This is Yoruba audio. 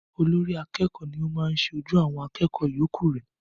Olórí akẹ́kọ̀ọ́ ni o maá ṣe ojú àwọn akẹ́kọ̀ọ́ yọ̀ọ́kù re